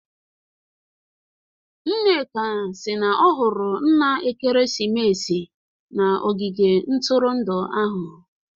Nneka si na ọ hụrụ nna ekeresimesi n'ogige ntụrụndụ ahụ